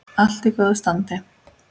Allt í góðu standi.